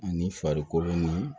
Ani farikolo ni